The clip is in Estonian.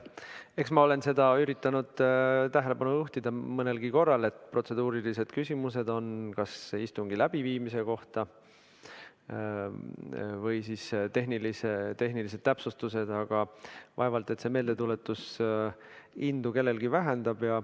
Eks ma olen sellele üritanud tähelepanu juhtida nii mõnelgi korral, et protseduurilised küsimused on kas istungi läbiviimise kohta või tehnilised täpsustused, aga vaevalt et see meeldetuletus kellegi indu vähendab.